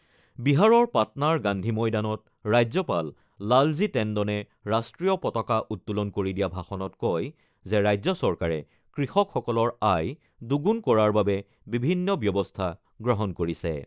বিহাৰৰ পাটনাৰ গান্ধী ময়দানত ৰাজ্যপাল লালজী টেণ্ডনে ৰাষ্ট্ৰীয় পতাকা উত্তোলন কৰি দিয়া ভাষণত কয় যে, ৰাজ্য চৰকাৰে কৃষকসকলৰ আয় দুগুণ কৰাৰ বাবে বিভিন্ন ব্যৱস্থা গ্ৰহণ কৰিছে।